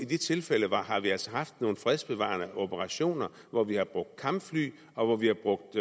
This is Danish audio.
de tilfælde har vi altså haft nogle fredsbevarende operationer hvor vi har brugt kampfly og hvor vi har brugt